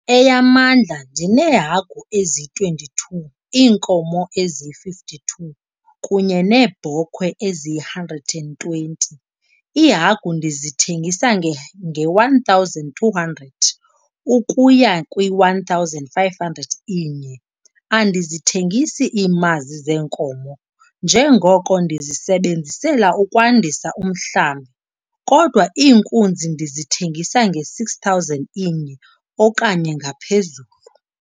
Eyamandla- Ndineehagu eziyi-22, iinkomo eziyi-52 kunye neebhokhwe eziyi-120. Iihagu ndizithengisa nge-R1 200 ukuya kwi-R1 500 inye. Andizithengisi iimazi zeenkomo njengoko ndizisebenzisela ukwandisa umhlambi kodwa iinkunzi ndizithengisa nge-R6 000 inye okanye ngaphezulu.